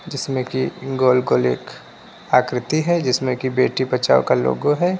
जिसमे की गोल गोल एक आकृति है जिसमे की बेटी बचाओ का लोगो है।